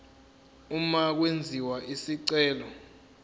uma kwenziwa isicelo